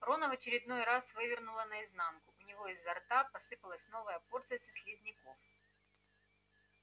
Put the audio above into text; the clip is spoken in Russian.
рона в очередной раз вывернуло наизнанку у него изо рта посыпалась новая порция слизняков